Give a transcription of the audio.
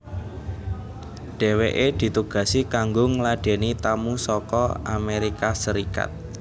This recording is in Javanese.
Dheweke ditugasi kanggo ngladeni tamu saka Amerika Serikat